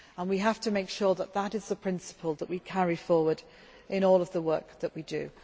We have to make sure that that is the principle that we carry forward in all of the work that we do.